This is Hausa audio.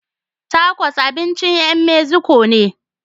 Takos abincin ƴan Meziko ne.